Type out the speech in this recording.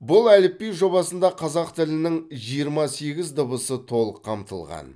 бұл әліпби жобасында қазақ тілінің жиырма сегіз дыбысы толық қамтылған